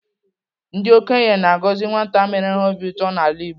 Ndị okenye na-agọzi nwata mere ha obi ụtọ n'ala Igbo.